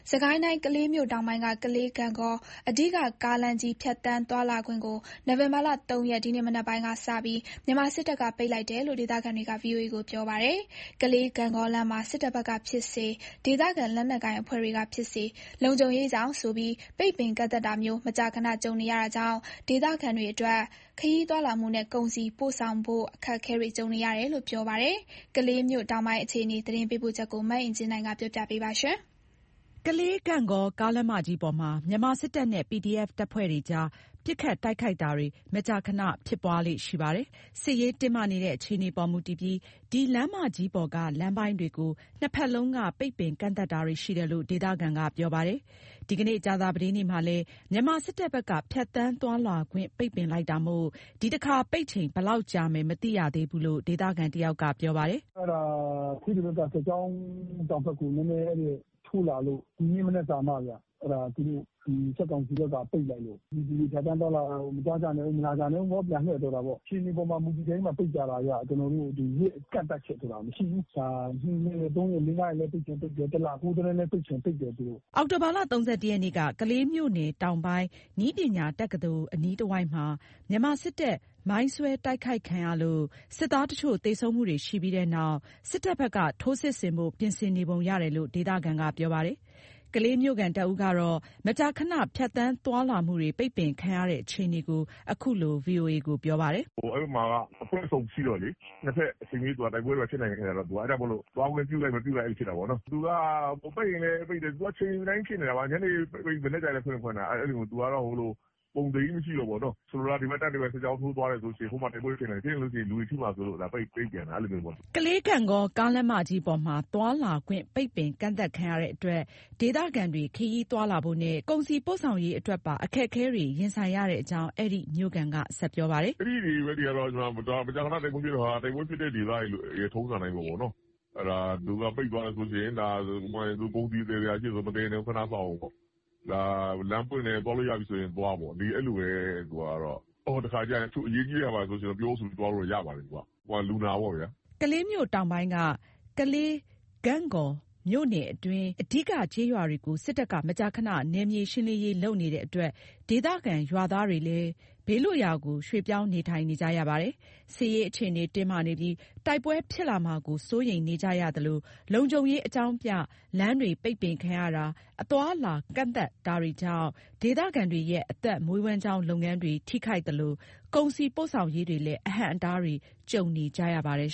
စစ်ကိုင်းတိုင်း၊ ကလေးမြို့တောင်ပိုင်းက ကလေး-ဂန့်ဂေါ အဓိက ကားလမ်းမကြီး ဖြတ်သန်းသွားလာခွင့်ကို နိုဝင်ဘာလ ၃ ရက် ဒီနေ့မပိုင်းကစပြီး မြန်မာစစ်တပ်က ပိတ်လိုက်တယ်လို့ ဒေသခံတွေက VOA ကို ပြောပါတယ်။ ကလေး-ဂန့်ဂေါလမ်းမှာ စစ်တပ်ဘက်ကဖြစ်စေ ဒေသခံလက်နက်ကိုင်အဖွဲ့တွေကဖြစ်စေ လုံခြုံရေးကြောင့်ဆိုပြီး ပိတ်ပင်ကန့်သတ်တာမျိုး မကြာခဏ ကြုံရတာကြောင့် ဒေသခံအတွက် ခရီးသွားလာမှုနဲ့ ကုန်စည်ပို့ဆောင်ဖို့ အခက်အခဲတွေကြုံနေရတယ်လို့ ပြောပါတယ်။ ကလေးမြို့တောင်ပိုင်း အခြေအအနေ သတင်းပေးပို့ချက်ကို မအင်ကြင်းနိုင်က တင်ပြပေးထားပါတယ်။ ကလေး-ဂန့်ဂေါ ကားလမ်းမကြီးပေါ်မှာ မြန်မာစစ်တပ်နဲ့ PDF တပ်ဖွဲ့တွေကြား ပစ်ခတ်တိုက်ခိုက်တာတွေ မကြာခဏဖြစ်ပွားလေ့ရှိပါတယ်။ စစ်ရေးတင်းမာနေတဲ့ အခြေအနေပေါ် မူတည်ပြီး ဒီလမ်းမကြီးပေါ်က လမ်းပိုင်းတွေကို နှစ်ဘက်လုံးက ပိတ်ပင်ကန့်သတ်တာတွေ ရှိတယ်လို့ ဒေသခံက ပြောပါတယ်။ ဒီနေ့ ကြာသပတေးနေ့မှာလည်း မြန်မာစစ်တပ်ဘက်က ဖြတ်သန်းသွားလာခွင့် ပိတ်ပင်လိုက်တာမို့ ဒီတခါပိတ်ချိန် ဘယ်လောက်ကြာမယ် မသိသေးရဘူးလို့ ဒေသခံတယောက်က ပြောပါတယ်။ “သူတို့ စစ်ကောင်စီဘက်က ပိတ်လိုက်လို့ ပြည်သူတွေ ဖြတ်သန်းသွားလာတာ မသွားကြနဲ့အုံး၊ မလာကြနဲ့အုံးပေါ့၊ ပြန်လှည့်ဆိုတာပေါ့။ အခြေအနေပေါ်မှာ မူတည်ပြီးတော့မှ ပိတ်ကြတာဗျ။ ရက်ကန့်သတ်ချက်ဆိုတာ မရှိဘူး။ ၂ ရက် ၃ ရက် ၄၊ ၅ ရက်လည်း ပိတ်ချင်ပိတ်တယ်၊ တလ ပိတ်ချင်ပိတ်တယ် သူတို့။” အောက်တိုဘာ ၃၁ ရက်နေ့က ကလေးမြို့နယ်တောင်ပိုင်း နည်းပညာတက္ကသိုလ် အနီးတဝိုက်မှာ မြန်မာစစ်တပ် မိုင်းဆွဲတိုက်ခိုက်ခံရလို့ စစ်သားတချို့သေဆုံးမှုတွေရှိပြီးတဲ့နောက် စစ်တပ်ဘက်က ထိုးစစ်ဆင်ဖို့ ပြင်ဆင်နေပုံရတယ်လို့ ဒေသခံက ပြောပါတယ်။ ကလေးမြို့ခံတဦးကတော့ မကြာခဏ ဖြတ်သန်းသွားလာမှုတွေ ပိတ်ပင်ခံရတဲ့ အခြေအနေကို ခုလို ပြောပါတယ်။ “အဲ့ဘက်မှာက အဖွဲ့စုံရှိတော့လေ- နှစ်ဘက်အချိန်မရွေး တိုက်ပွဲဖြစ်နိုင်တော့ အဲ့ကြောင့်မို့လို့ သွားခွင့်ပြုလိုက် မပြုလိုက်၊ အဲ့လိုဖြစ်သွားတာပေါ့နော်။ ပိတ်ရင်လည်း ပိတ်တယ်။ အချိန်တိုင်းဖြစ်နေတာပါ။ ညနေပိတ်ရင် မနက်ကျလည်း ဖွင့်ရင်ဖွင့်တာ။ အဲ့လို။ ပုံသေကြီးမရှိတာ့ဘူးပေါ့နော်။ ဆိုလိုတာ ဒီဘက်တပ် ဒီဘက်စစ်ကြောင်းထိုးသွားတယ်ဆိုလို့ရှိရင် ဟိုမှာ တိုက်ပွဲဖြစ်နိုင်တယ်၊ ဖြစ်ရင် လူတွေထိမှာစိုးလို့ ပိတ်ပင်တာ- အဲ့လိုမျိုးပေါ့။” ကလေး-ဂန့်ဂေါ ကားလမ်းမကြီးပေါ်မှာ သွားလာခွင့် ပိတ်ပင်ကန့်သတ်ခံရတဲ့အတွက် ဒေသခံတွေ ခရီးသွားလာဖို့နဲ့ ကုန်စည်ပို့ဆောင်ရေးအတွက်ပါ အခက်အခဲတွေ ရင်ဆိုင်ရတဲ့အကြောင်း အဲ့ဒီမြို့ခံက ဆက်ပြောပါတယ်။ “အဲ့ဒီဘက်တွေက မကြာခဏတိုက်ပွဲဖြစ်တော့ တိုက်ပွဲဖြစ်တဲ့ဒေသတွေရဲ့ ထုံစံအတိုင်းပေ့ါနော်၊ အဲ့ဒါ ပိတ်သွားတယ်ဆိုလို့ရှိရင် ကုန်စည်သယ်စရာရှိတယ်ဆို မသယ်နဲ့အုံး၊ ခဏစောင့်အုံးပေါ့၊ ဒါလမ်းပွင့်တယ် သွားလို့ရပြီဆိုရင် သွားပေါ့။ တခါတခါကျရင် တချို့အရေးကြီးတာဘာဆိုလို့ရှိရင် ပြောဆိုပြီးသွားလို့တော့ ရပါတယ် လူနာပေါ့ဗျာ။” ကလေးမြို့တောင်ပိုင်းက ကလေး - ဂန့်ဂေါ မြို့နယ်အတွင်း အဓိကကျေးရွာတွေကို စစ်တပ်က မကြာခဏ နယ်မြေရှင်းလင်းရေးလုပ်နေတဲ့အတွက် ဒေသခံရွာသားတွေလည်း ဘေးလွတ်ရာကို ရွှေ့ပြောင်းနေထိုင်နေကြရပါတယ်။ စစ်ရေးအခြေအနေတင်းမာနေပြီး တိုက်ပွဲဖြစ်လာမှာကို စိုးရိမ်နေကြရသလို လုံခြုံရေးအကြောင်းပြ လမ်းတွေပိတ်ပင်ခံရတာ၊ အသွားအလာ ကန့်သတ်တာတွေကြောင့် ဒေသခံတွေရဲ့ အသက်မွေးဝမ်းကျောင်းလုပ်ငန်းတွေ ထိခိုက်သလို ကုန်စည်ပို့ဆောင်ရေးတွေလည်း အဟန့်အတားတွေ ကြုံနေကြရပါတယ်